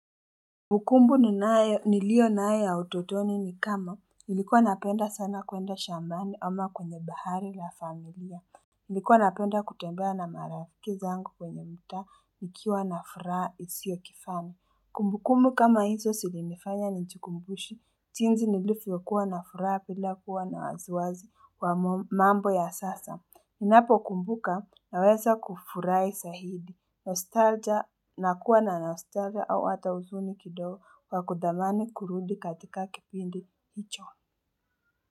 Kumbukumbu niilionayo ya utotoni ni kama nilikuwa napenda sana kuenda shambani ama kwenye bahari la familia Nilikuwa napenda kutembea na marafiki zangu kwenye mta nikiwa na furaha isio kifani. Kumbukumbu kama hizo silinifanya nijikumbushi, jinzi nilifyokuwa na furaha pila kuwa na waziwazi kwa mambo ya sasa. Ninapokumbuka naweza kufurahi sahidi. Nakuwa na nostalgia au hata uzuni kidogo wa kudhamani kurudi katika kipindi hicho.